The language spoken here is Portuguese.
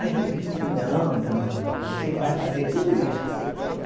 Aí ele disse, não, não, você vai fazer tudo isso.